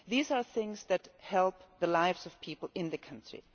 These are things which help the lives of people in the country.